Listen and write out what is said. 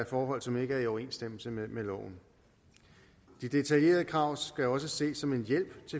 forhold som ikke er i overensstemmelse med loven de detaljerede krav skal også ses som en hjælp